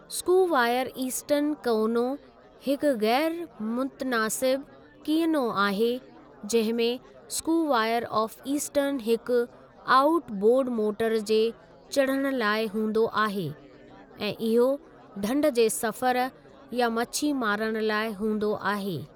Square stern कअनो हिकु ग़ैरु मुतनासिब कीनयो आहे जंहिं में स्कूवायर ऑफ़ इस्टर्न हिकु आऊट बोर्डु मोटर जे चढ़णु लाइ हूंदो आहे ऐं इहो ढंढ जे सफ़रु या मछी मारणु लाइ हूंदो आहे।